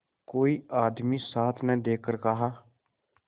कोई आदमी साथ न देखकर कहा